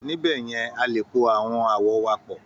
Níbẹ̀ yẹn, a lè po àwọn àwọ̀ wa pọ̀